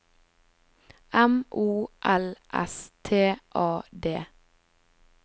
M O L S T A D